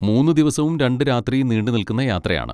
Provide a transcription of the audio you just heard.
മൂന്ന് ദിവസവും രണ്ട് രാത്രിയും നീണ്ടുനിൽക്കുന്ന യാത്രയാണ്.